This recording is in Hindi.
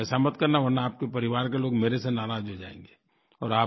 तो ऐसा मत करना वरना आपके परिवार के लोग मेरे से नाराज़ हो जाएँगे